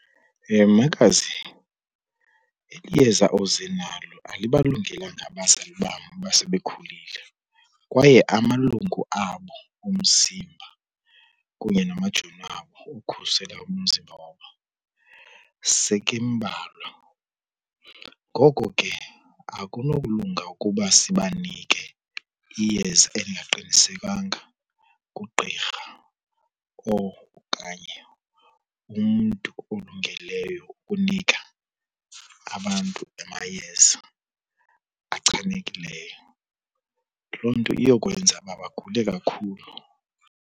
Makazi, eli yeza oze nalo alibalungelanga abazali bam abasebekhulile kwaye amalungu abo omzimba kunye namajoni wabo okukhusela umzimba wabo seke embalwa. Ngoko ke akunokulunga ukuba sibanike iyeza elingaqinisekanga ngugqirha okanye umntu olungeleyo ukunika abantu amayeza achanekileyo. Loo nto iyokwenza uba bagule kakhulu.